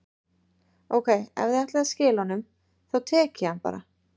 Ókei, ef þið ætlið að skila honum, þá tek ég hann bara.